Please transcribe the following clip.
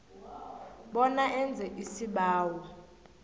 bona enze isibawo